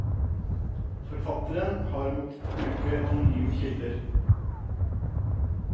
Forfatterne har måttet bruke anonyme kilder.